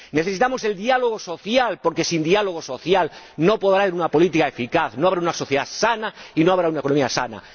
necesitamos el diálogo social, porque sin diálogo social no podrá haber una política eficaz, no habrá una sociedad sana y no habrá una comunidad sana